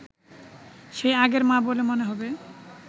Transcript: সেই আগের মা বলে মনে হবে